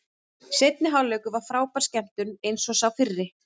Seinni hálfleikur var frábær skemmtun eins og sá fyrri.